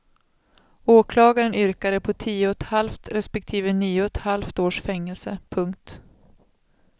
Åklagaren yrkade på tio och ett halvt respektive nio och ett halvt års fängelse. punkt